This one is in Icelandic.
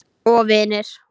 Ég kann ekkert að leika.